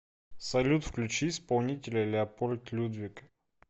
салют включи исполнителя леопольд людвиг